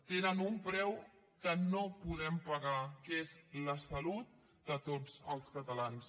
tenen un preu que no podem pagar que és la salut de tots els catalans